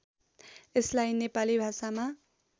यसलाई नेपाली भाषामा